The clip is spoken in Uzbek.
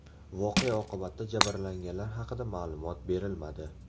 Voqea oqibatida jabrlanganlar haqida ma’lumot berilmadi.